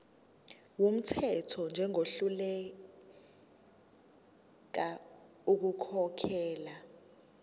wumthetho njengohluleka ukukhokhela